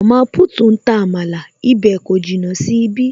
Mama put ń ta amala, ibè kò jìnnà sí ibí